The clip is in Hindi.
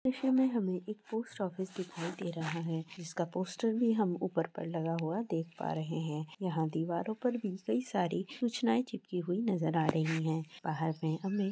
इस द्रश्य में हमे एक पोस्ट ऑफिस दिखाई दे रहा हैं जिसका पोस्टर भी हम ऊपर पर लगा हुआ देख पा रहे है। यहाँ दीवारों पर भी कई सारी सूचनाए चिपकी हुई नज़र आ रही हैं बाहर में हमे--